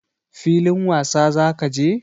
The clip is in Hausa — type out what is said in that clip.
Filin wasa za ka je?